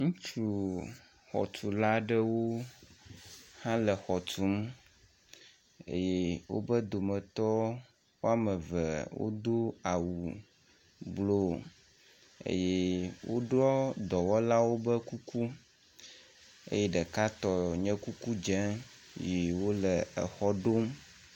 Ŋutsu xɔtula aɖewo hã le xɔ tum eye wobe dometɔ wɔme eve wodo awu blɔeye wodoa dɔwɔlawo ƒe kuku eye ɖeka tɔ nye kuku dze yi wo le exɔ ɖom.